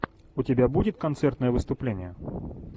у тебя будет концертное выступление